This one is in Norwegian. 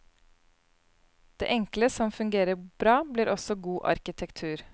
Det enkle som fungerer bra, blir også god arkitektur.